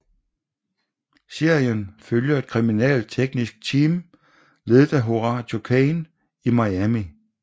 Serien følger et kriminalteknisk team ledet af Horatio Caine i Miami